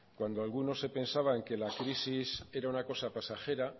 cuando alguno se pensaba en que la crisis era una cosa pasajera